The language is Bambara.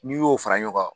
N'i y'o fara ɲɔgɔn kan